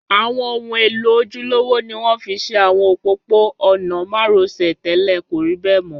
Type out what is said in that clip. Àwọn ohun èlò ojúlówó ni wọ́n fi ṣe àwọn òpópó-ọ̀nà márosẹ̀ tẹ́lẹ̀, kò rí bẹ̀ mọ́